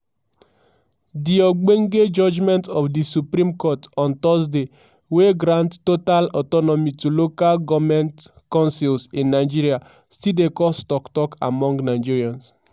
di ogbonge judgement of di supreme court on thursday wey grant total autonomy to local goment concils in nigeria still dey cause tok tok among nigerians.